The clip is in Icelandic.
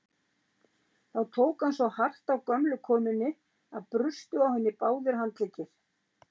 Þá tók hann svo hart á gömlu konunni að brustu á henni báðir handleggir.